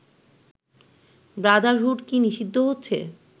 Brotherhood কি নিষিদ্ধ হচ্ছে